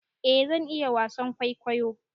eh zan iya wasan kwaikwayo